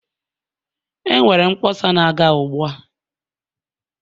Enwere mkpọsa na-aga ugbua.